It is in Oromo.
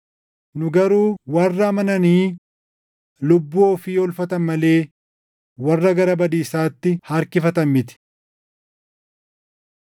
Nu garuu warra amananii lubbuu ofii oolfatan malee warra gara badiisaatti harkifatan miti.